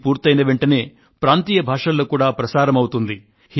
ఇది పూర్తయిన వెంటనే ప్రాంతీయ భాషలలో కూడా ప్రసారమవుతుంది